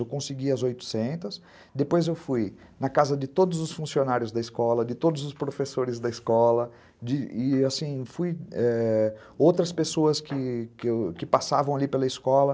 Eu consegui as oitocentas, depois eu fui na casa de todos os funcionários da escola, de todos os professores da escola, de, e, assim, ãh, fui, é... outras pessoas que passavam ali pela escola.